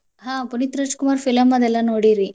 ಹಾ ಪುನೀತ್ ರಾಜಕುಮಾರ್ film ಅದು ಎಲ್ಲಾ ನೋಡಿರಿ?